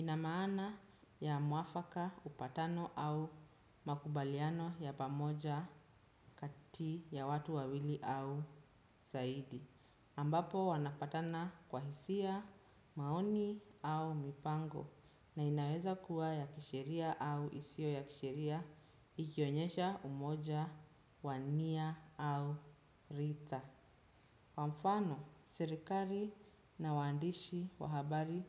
Inamaana ya muafaka upatano au makubaliano ya pamoja kati ya watu wawili au zaidi. Ambapo wanapatana kwa hisia maoni au mipango na inaweza kuwa ya kisheria au isio ya kisheria ikionyesha umoja wania au rita. Kwa mfano, sirikari na wandishi wahabari